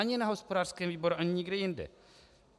Ani na hospodářském výboru, ani nikde jinde.